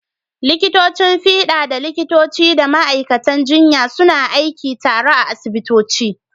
Likitocin fiɗa da likitoci da ma’aikatan jinya suna aiki tare a asibitoci.